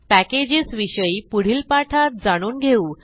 package विषयी पुढील पाठात जाणून घेऊ